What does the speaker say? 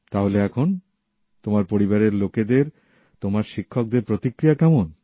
তাহলে এখন তোমার পরিবারের লোকেদের তোমার শিক্ষকদের প্রতিক্রিয়া কেমন